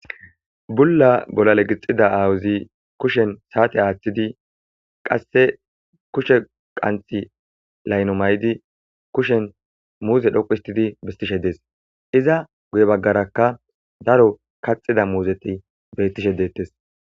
Bulla bolale gixida awuzi kushen saate aaththidi qasse kushe qanthi layno may'di kushen muuze dhoqu histidi bistishe dees iza guye baggarakka daro kaxida muuzeti bettishe deettes